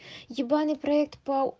ебаный проект по